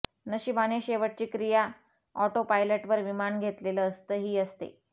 नशिबाने शेवटची क्रिया ऑटोपायलट वर विमान घेतलेलं असतं ही असते